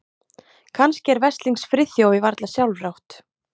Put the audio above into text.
Kannski er veslings Friðþjófi varla sjálfrátt.